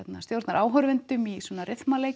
stjórnar áhorfendum í svona